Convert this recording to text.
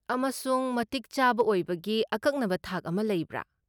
ꯑꯃꯁꯨꯡ ꯃꯇꯤꯛ ꯆꯥꯕ ꯑꯣꯏꯕꯒꯤ ꯑꯀꯛꯅꯕ ꯊꯥꯛ ꯑꯃ ꯂꯩꯕ꯭ꯔꯥ?